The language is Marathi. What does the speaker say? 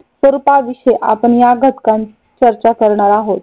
स्वरूपा विषयी आपण या घटकात चर्चा करणार आहोत.